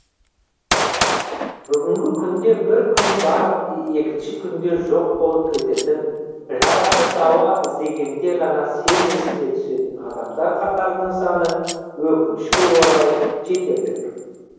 бүгінгі күнде бір күн бар екінші күні жоқ болып кететін жарасына дауа іздегенде ғана сен есіне түсетін адамдар қатарының саны өкінішке орай жетерлік